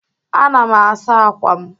Ana m asa akwa m.